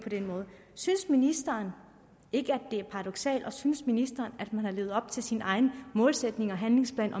synes ministeren ikke det er paradoksalt og synes ministeren at man har levet op til sin egen målsætning og handlingsplan